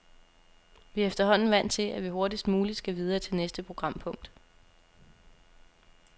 Vi er efterhånden vant til, at vi hurtigst muligt skal videre til næste programpunkt.